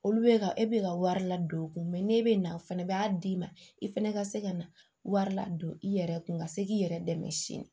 Olu bɛ ka e bɛ ka wari ladon u kun n'e bɛ na o fɛnɛ b'a d'i ma i fɛnɛ ka se ka na wari ladon i yɛrɛ kun ka se k'i yɛrɛ dɛmɛ sini